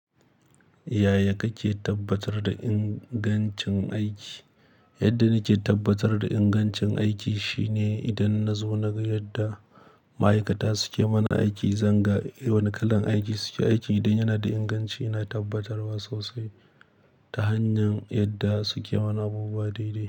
Yaya kake tabbatar da ingancin aiki? Yadda nake tabbatar da ingancin aiki shine idan nazo naga yadda ma'aikata suke mana aiki, zanga wane kalan aiki suke aiki. Idan yanada inganci, ina tabbatarwa sosai ta hanyar yadda suke mana abubuwa daidai.